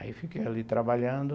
Aí fiquei ali trabalhando.